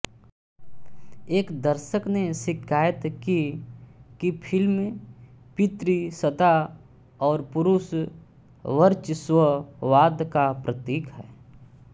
एक दर्शक ने शिकायत की कि फिल्म पितृसत्ता और पुरुष वर्चस्ववाद का प्रतीक है